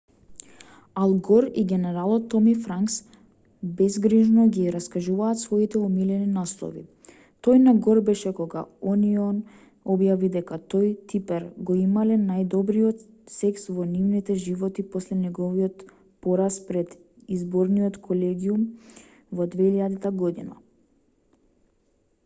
ал гор и генералот томи франкс безгрижно ги раскажуваат своите омилени наслови тој на гор беше кога онион објави дека тој и типер го имале најдобриот секс во нивните животи после неговиот пораз пред изборниот колегиум во 2000 година